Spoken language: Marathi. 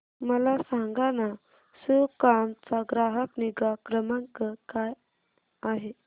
मला सांगाना सुकाम चा ग्राहक निगा क्रमांक काय आहे